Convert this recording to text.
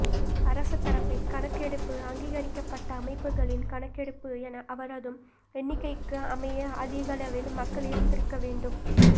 அரச தரப்பின் கணக்கெடுப்பு அங்கீகரிக்கப்பட்ட அமைப்புகளின் கணக்கெடுப்பு என அனைவரதும் எண்ணிக்கைக்கு அமைய அதிகளவில் மக்கள் இருந்திருக்க வேண்டும்